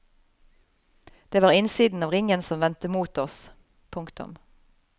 Det var innsiden av ringen som vendte mot oss. punktum